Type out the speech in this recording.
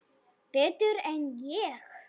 Betur en ég?